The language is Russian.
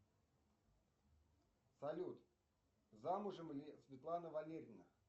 салют замужем ли светлана валерьевна